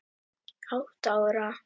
Átta ára